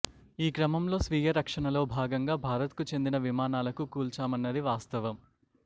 ఈ క్రమంలో స్వీయ రక్షణలో భాగంగా భారత్కు చెందిన విమానాలకు కూల్చామన్నది వాస్తవం